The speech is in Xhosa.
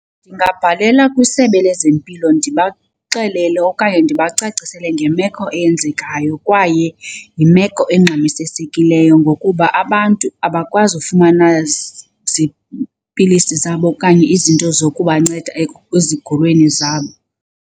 Ndingabhalela kwisebe lezempilo ndibaxelele okanye ndibacacisele ngemeko eyenzekayo kwaye yimeko engxamisesekileyo ngokuba abantu abakwazi ukufumana ziipilisi zabo okanye izinto zokubanceda ezigulweni zabo.